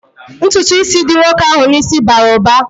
Ntụtụ ísì dị nwoke ahụ n'isi bara uba